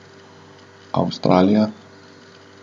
Avstralija.